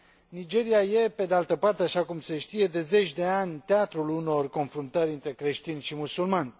Nigeria este, pe de altă parte, așa cum se știe, de zeci de ani, teatrul unor confruntări între creștini și musulmani.